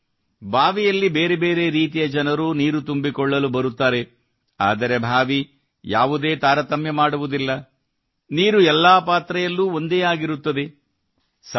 ಅಂದರೆ ಬಾವಿಯಲ್ಲಿ ಬೇರೆ ಬೇರೆ ರೀತಿಯ ಜನರು ನೀರು ತುಂಬಿಕೊಳ್ಳಲು ಬರುತ್ತಾರೆ ಆದರೆ ಬಾವಿ ಯಾವುದೇ ತಾರತಮ್ಯ ಮಾಡುವುದಿಲ್ಲ ನೀರು ಎಲ್ಲಾ ಪಾತ್ರೆಯಲ್ಲೂ ಒಂದೇ ಆಗಿರುತ್ತದೆ